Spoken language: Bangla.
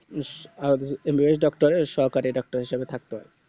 আর MBBS Doctor এর সহকারী হিসেবে থাকতে হয়